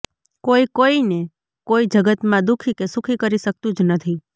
કોઈ કોઈને કોઈ જગતમાં દુખી કે સુખી કરી શકતું જ નથી